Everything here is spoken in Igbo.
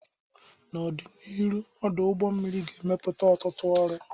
N'ọdịnihu, ọdụ ụgbọ mmiri ga-emepụta ọtụtụ ọrụ.